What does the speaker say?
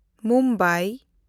Mumbai